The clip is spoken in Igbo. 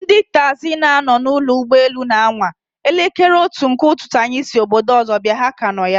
Ndị taxi na nọ na ụlọ ụgbọ elu na anwa! Elekere otu nke ụtụtụ anyị si obodo ọzọ bịa, ha ka nọ ya